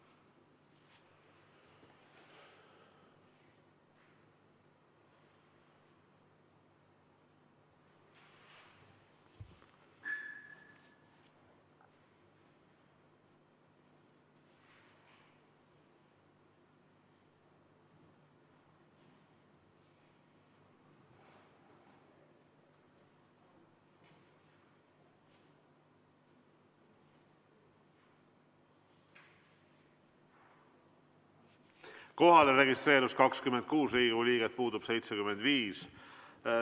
Kohalolijaks registreerus 26 Riigikogu liiget, puudub 75.